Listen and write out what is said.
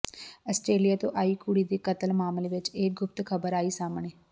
Australia ਤੋਂ ਆਈ ਕੁੜੀ ਦੇ ਕਤਲ ਮਾਮਲੇ ਚ ਇਹ ਗੁਪਤ ਖਬਰ ਆਈ ਸਾਹਮਣੇ